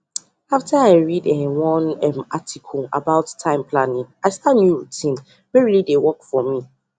after i read um one um article about time planning i start new routine wey really dey work for me